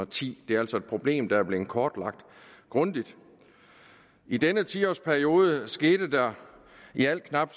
ti det er altså et problem der er blevet kortlagt grundigt i denne ti årsperiode skete der i alt knap